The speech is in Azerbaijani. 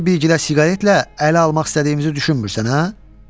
Səni bilgədə siqaretlə ələ almaq istədiyimizi düşünmürsən, hə?